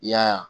I y'a ye